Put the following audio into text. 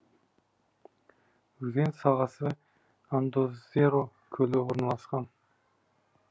өзен сағасы андозеро көлі орналасқан